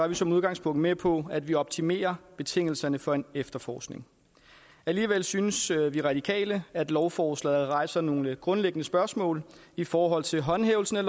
vi som udgangspunkt med på at vi optimerer betingelserne for en efterforskning alligevel synes vi i radikale at lovforslaget rejser nogle grundlæggende spørgsmål i forhold til håndhævelsen af